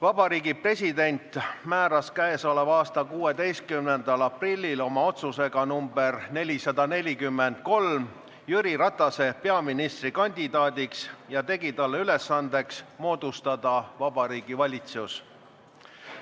Vabariigi President määras k.a 16. aprillil oma otsusega nr 443 Jüri Ratase peaministrikandidaadiks ja tegi talle ülesandeks moodustada Vabariigi Valitsus.